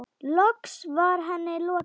Loks var henni lokið.